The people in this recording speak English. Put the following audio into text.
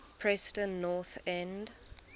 preston north end